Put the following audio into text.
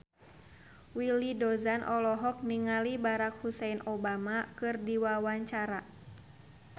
Willy Dozan olohok ningali Barack Hussein Obama keur diwawancara